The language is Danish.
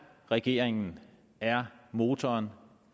regeringen er motoren